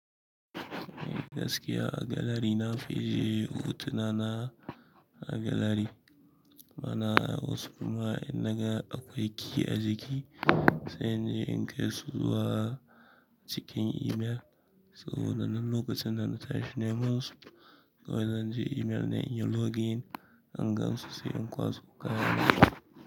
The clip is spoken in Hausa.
Gaskiya a galery na fi je hutuna na a gallery ma'ana wasu kuma in naga akwai key a jiki, sai inje kai su zuwa cikin email saboda nan lokacin da na tashi, neman su kawai zanje email na in yi login, in gansu sai in kwaso kaya na.